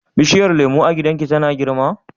bishiyar lemu a gidan ki tana girma?